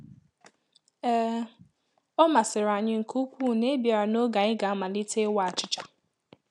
um Ọ masịrị anyị nke ukwuu na i bịara n’oge ànyị ga-amalite ịwa achịcha